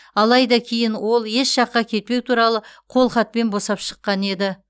алайда кейін ол еш жаққа кетпеу туралы қолхатпен босап шыққан еді